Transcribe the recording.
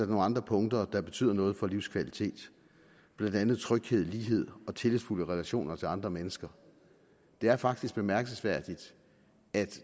nogle andre punkter der betyder noget for livskvalitet blandt andet tryghed lighed og tillidsfulde relationer til andre mennesker det er faktisk bemærkelsesværdigt at